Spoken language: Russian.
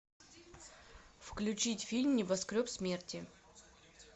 включить фильм небоскреб смерти